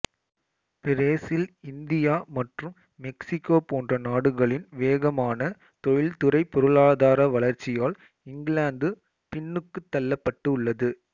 Brazil India மற்றும் Mexico போன்ற நாடுகளின் வேகமான தொழில்துறைப் பொருளாதார வளர்ச்சியால் இங்கிலாந்து பின்னுக்குத் தள்ளப்பட்டு உள்ளது